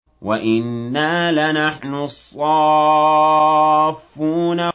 وَإِنَّا لَنَحْنُ الصَّافُّونَ